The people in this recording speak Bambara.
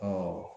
Ɔ